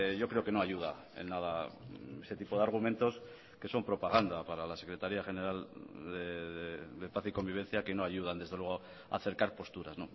yo creo que no ayuda en nada ese tipo de argumentos que son propaganda para la secretaría general de paz y convivencia que no ayudan desde luego a acercar posturas